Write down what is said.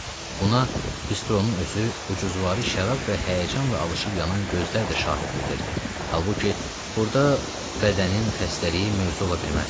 Buna bistronun özü, ucuzvari şərab və həyəcanla alışib yanan gözlər də şahidlik edirdi, halbuki burada bədənin xəstəliyi mövzu ola bilməzdi.